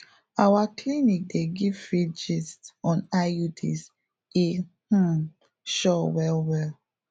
our clinic dey give free gist on iuds e um sure well well